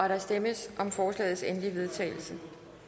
der stemmes om forslagets endelige vedtagelse